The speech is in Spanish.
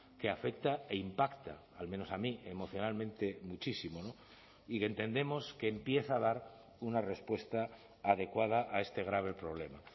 que afecta e impacta al menos a mí emocionalmente muchísimo y entendemos que empieza a dar una respuesta adecuada a este grave problema